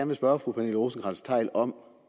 vil spørge fru pernille rosenkrantz theil om